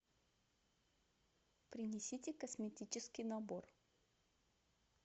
принесите косметический набор